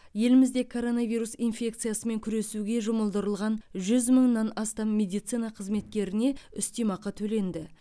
елімізде короновирус инфекциясымен күресуге жұмылдырылған жүз мыңнан астам медицина қызметкеріне үстемеақы төленді